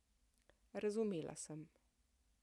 Razumela sem.